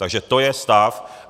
Takže to je stav.